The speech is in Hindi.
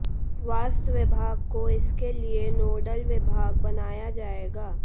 स्वास्थ्य विभाग को इसके लिये नोडल विभाग बनाया जायेगा